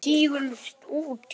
Dobl og tígull út.